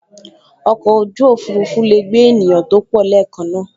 Oko oju ofurufu lee gbe eniyan to po leekan naa